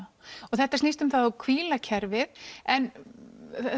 þetta snýst um það að hvíla kerfið en